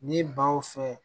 Ni baw fɛ